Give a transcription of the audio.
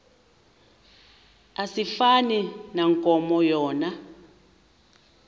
asifani nankomo yona